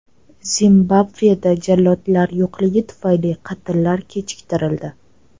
Zimbabveda jallodlar yo‘qligi tufayli qatllar kechiktirildi.